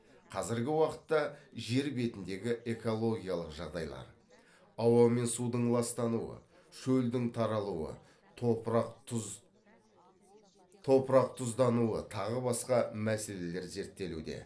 қазіргі уақытта жер бетіндегі экологиялық жағдайлар ауа мен судың ластануы шөлдің таралуы топырақ тұздануы тағы басқа мәселелер зерттелуде